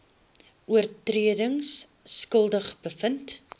oortredings skuldig bevind